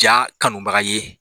Ja kanubaga ye.